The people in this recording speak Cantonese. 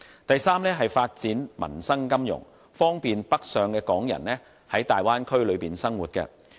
第三，是發展民生金融，方便北上的港人在大灣區內生活。